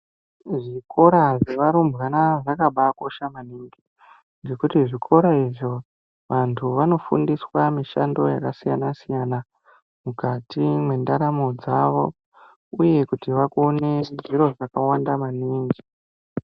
Muzvikora zvarumbwana zvakabakosha maningi. Ngekuti zvikora izvo vantu vanofundiswa mishando yakasiyana-siyana, mukati mwendaramo dzavo, uye kuti vakone zviro zvakawanda maningi.